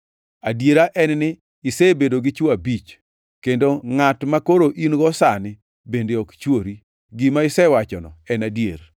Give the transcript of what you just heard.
Adiera en ni isebedo gi chwo abich, kendo ngʼat makoro in-go sani bende ok chwori. Gima isewachono en adier.”